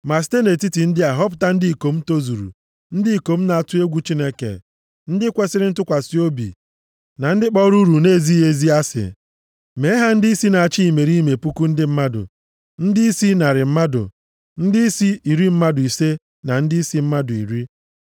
Ma site nʼetiti ndị a họpụta ndị ikom tozuru, ndị ikom na-atụ egwu Chineke, ndị kwesiri ntụkwasị obi na ndị kpọrọ uru nʼezighị ezi + 18:21 Ya bụ ndị na-enweghị anya ukwu asị. Mee ha ndịisi na-achị imerime puku ndị mmadụ, ndịisi narị mmadụ, ndịisi iri mmadụ ise na ndịisi mmadụ iri.